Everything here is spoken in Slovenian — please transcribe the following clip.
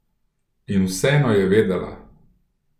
In vseeno je vedela.